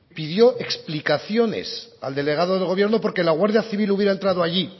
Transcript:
pidió explicaciones al delegado del gobierno porque la guardia civil hubiera entrado allí